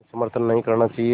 में समर्थन नहीं करना चाहिए